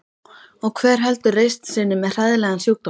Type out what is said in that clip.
Og hver heldur reisn sinni með hræðilegan sjúkdóm?